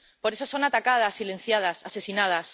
Por esos son atacadas, silenciadas, asesinadas.